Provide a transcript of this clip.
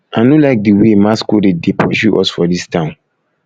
i no like the way masquerade dey pursue us for dis town